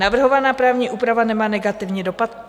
Navrhovaná právní úprava nemá negativní dopad.